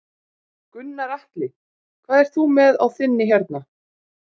Gunnar Atli: Hvað ert þú með á þinni hérna?